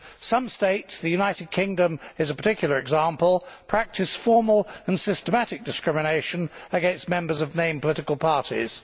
Some states the United Kingdom is a particular example practise formal and systematic discrimination against members of named political parties.